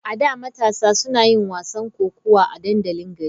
A da, matasa suna yin wasan kokawa a dandalin gari.